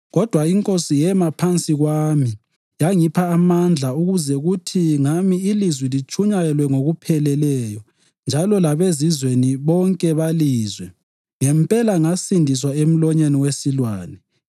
Kodwa iNkosi yema phansi kwami yangipha amandla ukuze kuthi ngami ilizwi litshunyayelwe ngokupheleleyo njalo labeZizweni bonke balizwe. Ngempela ngasindiswa emlonyeni wesilwane.